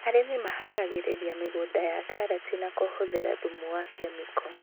Arĩmi maharagĩrĩria mĩgũnda ya karati na kuhuthĩra thumu wa kemiko